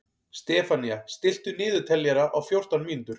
Stefanía, stilltu niðurteljara á fjórtán mínútur.